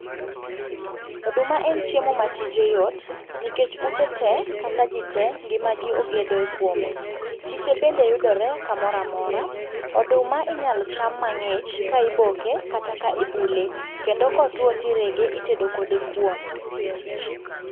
Oduma en chiemo matije yot nikech ute tee, kata ji tee ngimagi ogedo kuome. Chiche bende yudore kamoro amora. Oduma inyalo cham mang'ich ka iboke kata ka ibule, kendo kotwo tirege, itedo kode kuon.